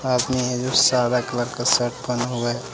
सदा कलर का शर्ट पहना हुआ है।